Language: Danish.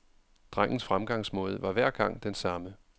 Drengens fremgangsmåde var hver gang den samme.